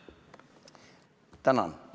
Tänan!